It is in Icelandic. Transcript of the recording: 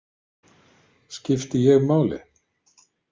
Skipti ég máli?